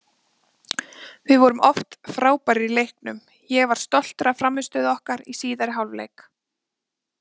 Við vorum oft frábærir í leiknum, ég var stoltur af frammistöðu okkar í síðari hálfleik.